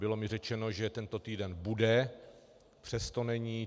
Bylo mi řečeno, že tento týden bude, přesto není.